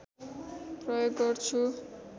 प्रयोग गर्छु